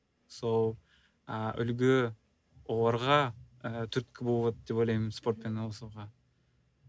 сол і үлгі оларға і түрткі болады деп ойлаймын спортпен айналысуға